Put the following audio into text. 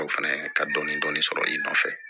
O fɛnɛ ka dɔni dɔni sɔrɔ i nɔfɛ